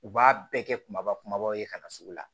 U b'a bɛɛ kɛ kumaba kumabaw ye ka na sugu la